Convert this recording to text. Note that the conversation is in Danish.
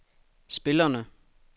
spillerne